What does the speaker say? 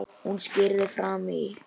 Hún skríður fram í.